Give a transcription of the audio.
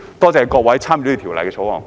多謝各位參與審議《條例草案》的議員。